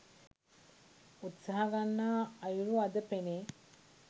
උත්සාහ ගන්නා අයුරු අද පෙනේ.